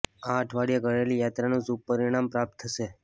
આ અઠવાડિયે કરેલી યાત્રાનું શુભ પરિણામ પ્રાપ્ત થશે